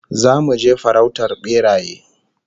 Zamu je farautar beraye